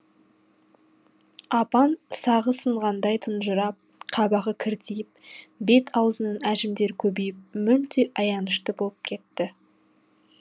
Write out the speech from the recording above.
апам сағы сынғандай тұнжырап қабағы кіртиіп бет аузының әжімдері көбейіп мүлде аянышты боп кетті